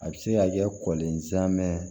A bɛ se ka kɛ kɔlɔnzan mɛɛn